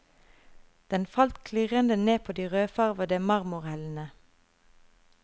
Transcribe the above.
Den falt klirrende ned på de rødfarvede marmorhellene.